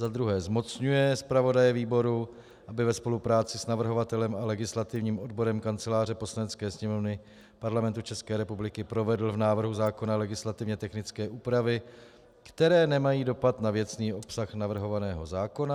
za druhé zmocňuje zpravodaje výboru, aby ve spolupráci s navrhovatelem a legislativním odborem kanceláře Poslanecké sněmovny Parlamentu České republiky provedl v návrhu zákona legislativně technické úpravy, které nemají dopad na věcný obsah navrhovaného zákona;